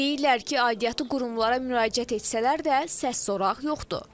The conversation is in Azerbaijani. Deyirlər ki, aidiyyatı qurumlara müraciət etsələr də, səs-soraq yoxdur.